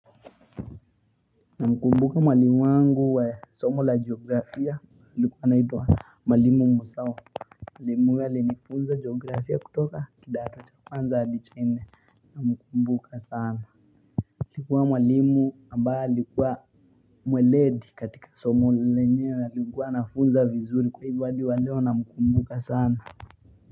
Namkumbuka mwalimu wangu wa somo la geografia alikuwa anaitwa mwalimu Muzau mwalimu huyo alinifunza geografia kutoka kidato cha kwanza adi cha nne namkumbuka sana alikuwa mwalimu ambaye alikuwa mweledi katika somo lenyewe alikuwa anafunza vizuri kwa hivyo adi wa leo namkumbuka sana.